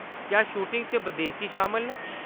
क्या शूटिंग च बदेसी शामल न ?